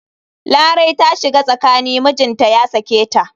Larai ta shiga tsakani mijinta ya sake ta.